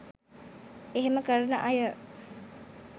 එහෙම කරන අය